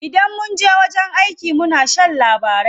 Idan munje wajen aiki muna shan labarai.